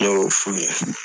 Ne y'o f'u ye